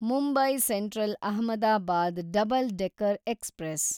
Mumbai central Ahmedabad double decker express